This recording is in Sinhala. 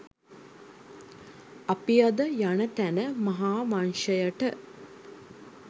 අපි අද යන තැන මහාවංශයට